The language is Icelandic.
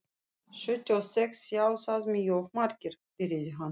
Sjötíu og sex sjá það mjög margir, byrjaði hann.